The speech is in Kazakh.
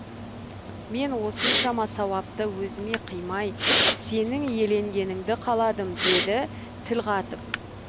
мен осыншама сауапты өзіме қимай сенің иеленгеніңді қаладым деді тіл қатып